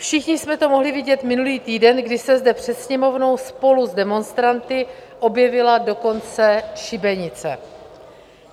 Všichni jsme to mohli vidět minulý týden, kdy se zde před Sněmovnou spolu s demonstranty objevila dokonce šibenice.